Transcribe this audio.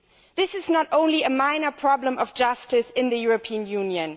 This is not only a minor problem of justice in the European Union.